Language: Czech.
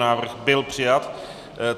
Návrh byl přijat.